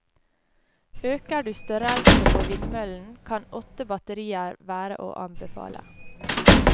Øker du størrelse på vindmøllen, kan åtte batterier være å anbefale.